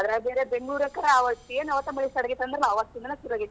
ಅದ್ರಾಗ್ ಬೇರೆ ಬೆಂಗಳೂರಂಕರ್ ಅವತ್ತೆನ್ ಅವತ್ ಮಳಿ start ಆಗೇತಿ ಅಂದ್ರಲಾ ಅವತ್ತಿಂದಾನ ಸುರು ಆಗೇತ್.